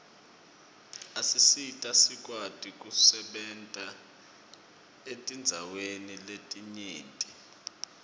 asisita sikwati kusebenta etindzaweni letinyenti